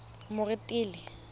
moretele